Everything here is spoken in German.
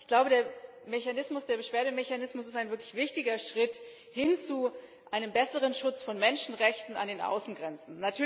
Ich glaube, der Beschwerdemechanismus ist ein wirklich wichtiger Schritt hin zu einem besseren Schutz von Menschenrechten an den Außengrenzen.